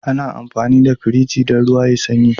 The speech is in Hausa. Ana amfani da Firji dan ruwa yayi sanyi